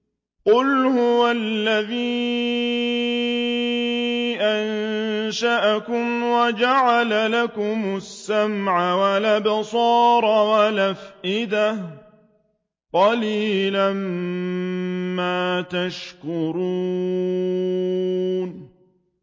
قُلْ هُوَ الَّذِي أَنشَأَكُمْ وَجَعَلَ لَكُمُ السَّمْعَ وَالْأَبْصَارَ وَالْأَفْئِدَةَ ۖ قَلِيلًا مَّا تَشْكُرُونَ